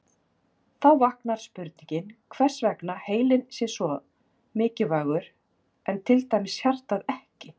Þá vaknar spurningin hvers vegna heilinn sé svo mikilvægur en til dæmis hjartað ekki.